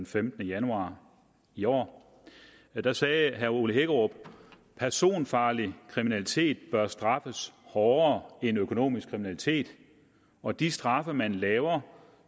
femtende januar i år og der sagde herre ole hækkerup personfarlig kriminalitet bør straffes hårdere end økonomisk kriminalitet og de straffe man laver